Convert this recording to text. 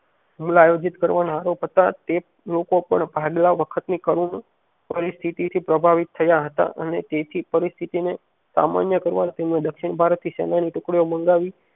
હમણાં આયોજિત કરવાના આરોપ હતા તે લોકો પણ ભાગલા વખત ની કરુણ પરિસ્થિતિ થી પ્રાભાવિત થયા હતા અને તેથી પરિસ્થિતિ ને સામાન્ય કરવા તેમને દક્ષિણ ભારતથી સેનાએ ની ટુકડીઓ મંગાવી